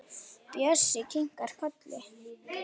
Bjössi kinkar kolli.